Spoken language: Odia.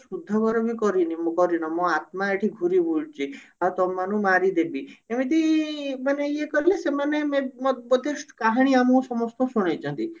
ଶୁଦ୍ଧଘର ବି କରିନି କରିନ ମୋ ଆତ୍ମା ଏଠି ଘୂରିବୁଲୁଛି ଆଉ ତମମାନକୁ ମାରିଦେବି ଏମିତି ମାନେ ଇଏ କଲେ ସେମାନେ ମେ ମ ବୋଧେ କାହାଣୀ ଆମ ସମସ୍ତଙ୍କୁ ଶୁଣେଇଛନ୍ତି